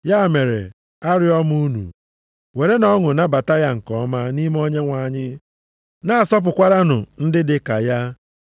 Ya mere, arịọ m unu, werenụ ọṅụ nabata ya nke ọma nʼime Onyenwe anyị, na-asọpụkwaranụ ndị dị ka ya.